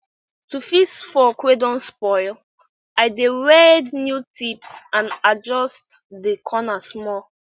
to fix fork wey don spoil i dey weld new tips and adjust de corner small